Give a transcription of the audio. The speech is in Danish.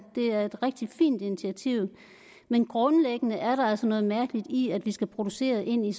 er et rigtig fint initiativ men grundlæggende er der altså noget mærkeligt i at vi skal producere ind i